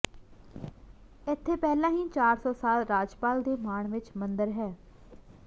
ਇੱਥੇ ਪਹਿਲਾਂ ਹੀ ਚਾਰ ਸੌ ਸਾਲ ਰਾਜਪਾਲ ਦੇ ਮਾਣ ਵਿਚ ਮੰਦਰ ਹੈ